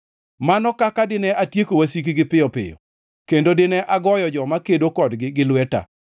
mano kaka dine atieko wasikgi piyo piyo kendo dine agoyo joma kedo kodgi gi lweta!